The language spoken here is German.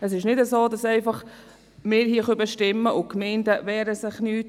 Es ist nicht so, dass wir hier einfach bestimmen können und die Gemeinden wehren sich nicht;